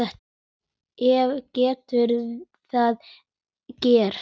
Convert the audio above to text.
Hvað getur það gert?